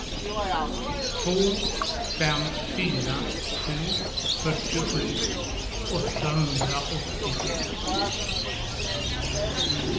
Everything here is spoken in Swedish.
två fem fyra sju fyrtiosju åttahundraåttiosju